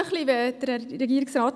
Ich danke Regierungsrat